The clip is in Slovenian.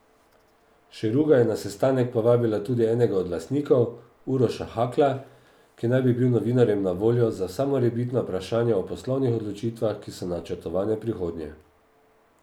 Šeruga je na sestanek povabila tudi enega od lastnikov, Uroša Hakla, ki naj bi bil novinarjem na voljo za vsa morebitna vprašanja o poslovnih odločitvah, ki so načrtovane v prihodnje.